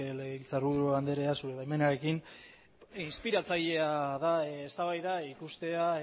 legebiltzarburu andrea zure baimenarekin inspiratzailea da eztabaida ikustea